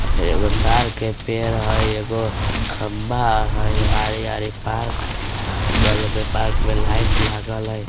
फिर एगो ताड़ के पेड़ हई एगो खंबा हई हरे हरे पार्क बगल में पार्क में लाइट लागल हई।